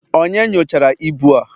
Onye nyochara ibu a?